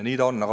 Nii ta on.